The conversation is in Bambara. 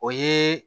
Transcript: O ye